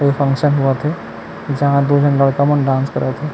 ए function होवा थे जहां दो झन लड़का मन डांस करत हे।